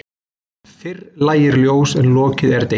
Fyrr lægir ljós en lokið er degi.